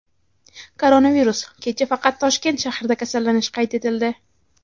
Koronavirus: kecha faqat Toshkent shahrida kasallanish qayd etildi.